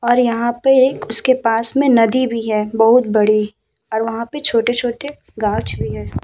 और यहां पे एक उसके पास मे नदी भी है बोहोत बड़ी और वहां पे छोटे-छोटे घास भी हैं।